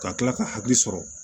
Ka kila ka hakili sɔrɔ